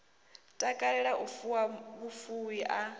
takalela u fuwa vhufuwi a